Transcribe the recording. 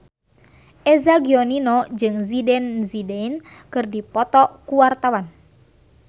Eza Gionino jeung Zidane Zidane keur dipoto ku wartawan